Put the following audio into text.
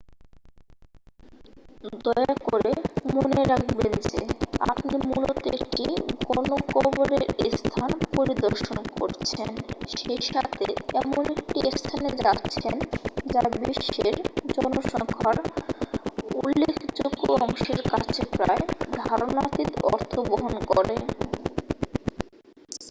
দয়া করে মনে রাখবেন যে আপনি মূলত একটি গণকবরের স্থান পরিদর্শন করছেন সেইসাথে এমন একটি স্থানে যাচ্ছেন যা বিশ্বের জনসংখ্যার উল্লেখযোগ্য অংশের কাছে প্রায় ধারণাতীত অর্থবহন করে